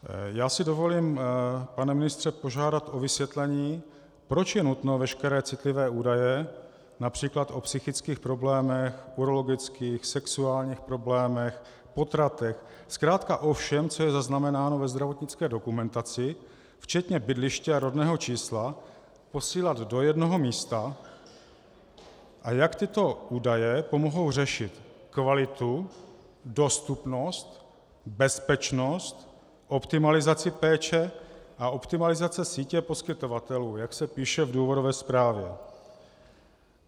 Já si dovolím, pane ministře, požádat o vysvětlení, proč je nutno veškeré citlivé údaje například o psychických problémech, urologických, sexuálních problémech, potratech, zkrátka o všem, co je zaznamenáno ve zdravotnické dokumentaci, včetně bydliště a rodného čísla, posílat do jednoho místa, a jak tyto údaje pomohou řešit kvalitu, dostupnost, bezpečnost, optimalizaci péče a optimalizaci sítě poskytovatelů, jak se píše v důvodové zprávě.